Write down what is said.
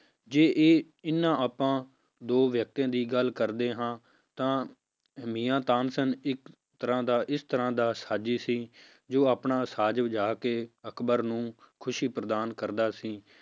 ਜੇ ਇਹ ਇਹਨਾਂ ਆਪਾਂ ਦੋ ਵਿਅਕਤੀਆਂ ਦੀ ਗੱਲ ਕਰਦੇੇ ਹਾਂ ਤਾਂ ਮੀਆਂ ਤਾਨਸੇਨ ਇੱਕ ਤਰ੍ਹਾਂ ਦਾ ਇਸ ਤਰ੍ਹਾਂ ਦਾ ਸਾਜੀ ਸੀ, ਜੋ ਆਪਣਾ ਸਾਜ ਵਜਾ ਕੇ ਅਕਬਰ ਨੂੰ ਖ਼ੁਸ਼ੀ ਪ੍ਰਦਾਨ ਕਰਦਾ ਸੀ